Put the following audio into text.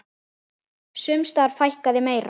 Sums staðar fækkaði meira.